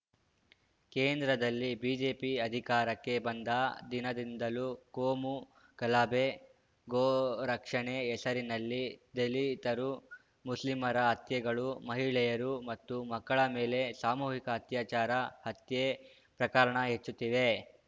ಕೇಂದ್ರದಲ್ಲಿ ಬಿಜೆಪಿ ಅಧಿಕಾರಕ್ಕೆ ಬಂದ ದಿನದಿಂದಲೂ ಕೋಮು ಗಲಭೆ ಗೋ ರಕ್ಷಣೆ ಹೆಸರಿನಲ್ಲಿ ದಲಿತರು ಮುಸ್ಲಿಮರ ಹತ್ಯೆಗಳು ಮಹಿಳೆಯರು ಮತ್ತು ಮಕ್ಕಳ ಮೇಲೆ ಸಾಮೂಹಿಕ ಅತ್ಯಾಚಾರ ಹತ್ಯೆ ಪ್ರಕರಣ ಹೆಚ್ಚುತ್ತಿವೆ